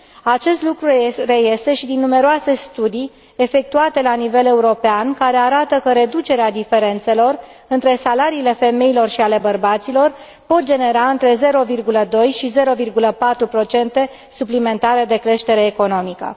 Aceste lucru reiese și din numeroase studii efectuate la nivel european, care arată că reducerea diferențelor între salariile femeilor și ale bărbaților poate genera între 0,2 și 0,4 procente suplimentare de creștere economică.